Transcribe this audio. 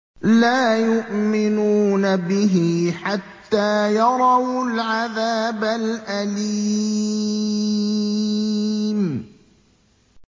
لَا يُؤْمِنُونَ بِهِ حَتَّىٰ يَرَوُا الْعَذَابَ الْأَلِيمَ